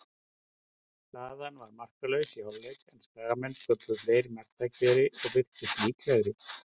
Staðan var markalaus í hálfleik, en Skagamenn sköpuðu fleiri marktækifæri og virtust líklegri.